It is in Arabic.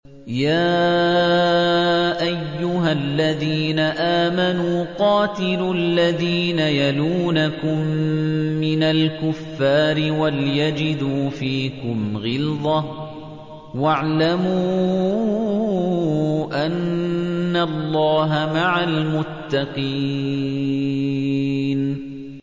يَا أَيُّهَا الَّذِينَ آمَنُوا قَاتِلُوا الَّذِينَ يَلُونَكُم مِّنَ الْكُفَّارِ وَلْيَجِدُوا فِيكُمْ غِلْظَةً ۚ وَاعْلَمُوا أَنَّ اللَّهَ مَعَ الْمُتَّقِينَ